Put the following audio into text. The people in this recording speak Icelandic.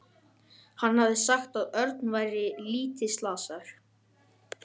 Hann hafði sagt að Örn væri lítið slasaður.